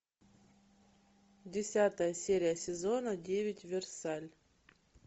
десятая серия сезона девять версаль